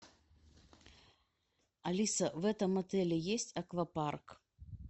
алиса в этом отеле есть аквапарк